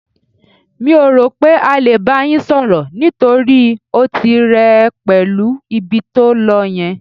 Mi ò rò pé á lè bá yín sọ̀rọ̀, nítorí ó ti rẹ ẹ pẹ̀lú ibi tó lọ yẹn.